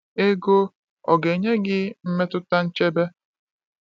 Ego ọ ga-enye gị mmetụta nchebe?